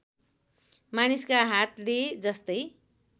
मानिसका हातले जस्तै